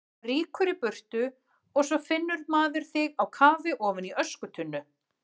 Rýkur í burtu og svo finnur maður þig á kafi ofan í öskutunnu!